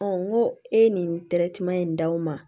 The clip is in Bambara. n ko e ye nin in d'aw ma